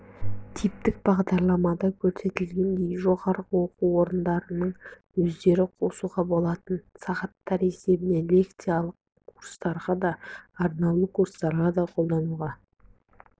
типтік бағдарламада көрсетілгендей жоғары оқу орындарының өздері қосуға болатын сағаттар есебінен лекциялық курстарға да арнаулы курстарға да қолдануға